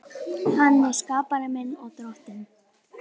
Hann er skapari minn og Drottinn.